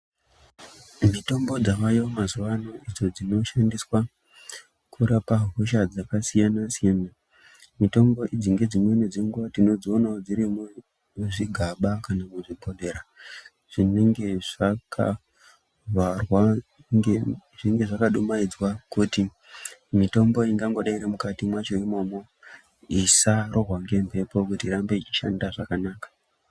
Mitombo dzavayo mazuva ano idzo dzinoshandiswa kurapa hosha dzakasiyana siyana, mitombo idzi nedzimweni dzenguva tinodziona dzirimo muzvigaba nemuzvibhodhlera zvinenge zvakavharwa nge.., zvinenge zvakadumaidzwa kuti mitombo ingangodei iri mukati mwazvo imomo isarowa ngemhepo kuti irambe ichishanda zvakanaka.